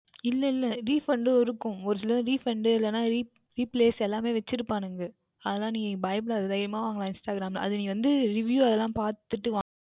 இல்லை இல்லை Refund இருக்கும் ஓர் சிலது Refund எல்லாம் Replace எல்லாமுமே வைத்து இருப்பார்கள் அதனால் பயப்படாதே தைரியமாக வாங்கலாம் Instagram யில் அது வந்து நீ வந்து Review எல்லாம் பார்த்துவிட்டு வாங்கவேண்டும்